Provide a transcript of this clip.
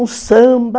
O samba.